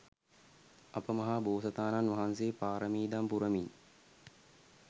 අප මහ බෝසතාණන් වහන්සේ පාරමි දම් පුරමින්